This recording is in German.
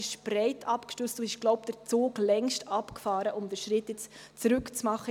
Es ist breit abgestützt, und ich glaube, der Zug ist längst abgefahren, um jetzt einen Schritt zurück zu machen.